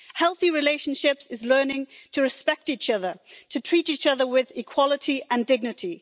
Healthy relationships means learning to respect each other and to treat each other with equality and dignity.